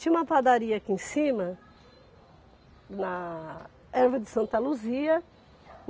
Tinha uma padaria aqui em cima na Erva de Santa Luzia.